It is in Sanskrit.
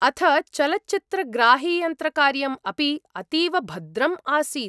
अथ चलच्चित्रग्राहियन्त्रकार्यम् अपि अतीव भद्रम् आसीत्।